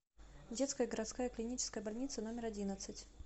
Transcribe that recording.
детская городская клиническая больница номер одиннадцать